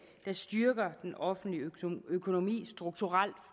der styrker den offentlige økonomi strukturelt